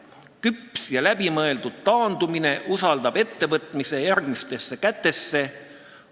Küps ja läbimõeldud taandumine usaldab ettevõtmise järgmistesse kätesse.